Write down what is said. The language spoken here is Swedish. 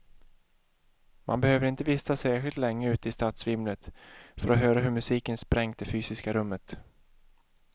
Man behöver inte vistas särskilt länge ute i stadsvimlet för att höra hur musiken sprängt det fysiska rummet.